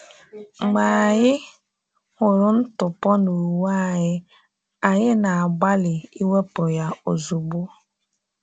Mgbe anyị hụrụ ntụpọ n’uwe anyị, anyị na-agbalị iwepụ ya ozugbo.